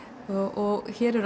og hér eru